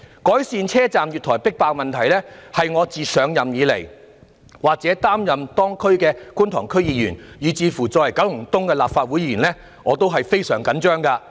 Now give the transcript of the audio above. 改善車站月台迫爆問題，是我自擔任觀塘區議員，以至作為立法會九龍東界別的議員以來非常着緊的事情。